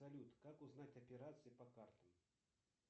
салют как узнать операции по картам